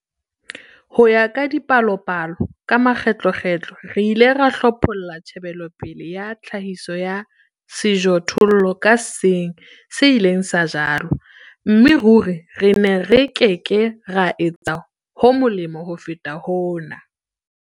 Ho ya ka dipalopalo, ka makgetlokgetlo re ile ra hlopholla tjhebelopele ya tlhahiso ya sejothollo ka seng se ileng sa jalwa, mme ruri re ne re ke ke ra etsa ho molemo ho feta hona.